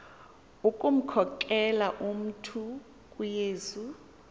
ukumkhokelela umntu kuyesu